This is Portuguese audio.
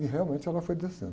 E realmente ela foi descendo.